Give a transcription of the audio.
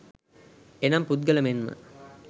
එනම් පුද්ගල මෙන්ම